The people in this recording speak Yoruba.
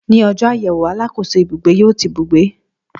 Ní ọjọ́ àyẹ̀wò, alákòóso ibugbe yó ti ibùgbé